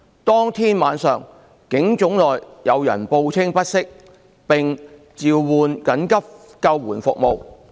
當天晚上，警總內有人報稱不適，並召喚緊急救護服務。